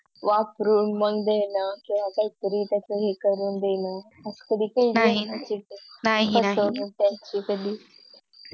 वापरून मग देणे किंवा काहीतरी तस हे करून देणे नाही नाहि